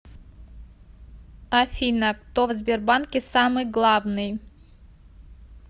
афина кто в сбербанке самый главный